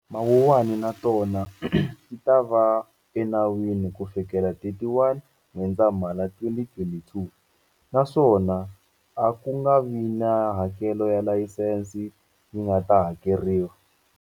Mawuwani na tona ti ta va enawini kufikela 31 N'wendzamhala 2022, naswona a ku nga vi na hakelo ya layisense yi nga ta hakeriwa.